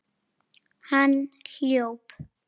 Hann hljóp.